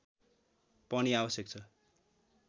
पनि आवश्यक छ